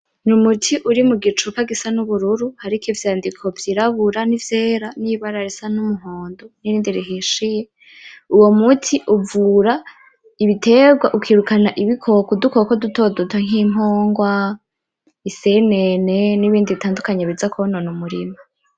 Ni umuti uri mu gicupa gisa n'ubururu hariko ivyandiko vy'irabura nivyera nibara risa n'umuhondo n'irindi rihishiye, uwo muti uvura ibitegwa ukirukana ibikoko, udukoko dutoduto nk'impungwa, isenene n'ibindi bitandukanye biza kwonona umurima.